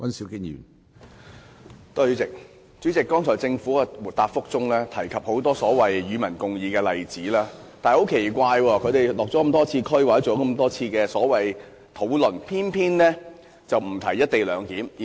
主席，政府剛才在主體答覆中提及很多所謂"與民共議"的例子，但很奇怪的是，政府多次落區或進行討論，偏偏沒有提及"一地兩檢"。